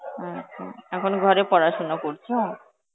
আচ্ছা, এখন ঘরে পড়াশোনা করছো?